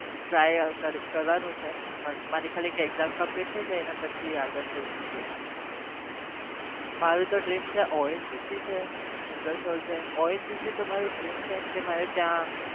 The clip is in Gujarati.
Try કર કરવા નો છે પણ મારી ખાલી એક exam complete થાય જાય ને પછી આગળ सोचसु એમ મારું તો dream છે ongc છે છે ongc તો મારું dream છે કે મારે ત્યાં